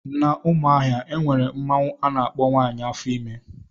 N' Umuahia enwere mmanwụ ana akpọ " nwaanyị afo ime"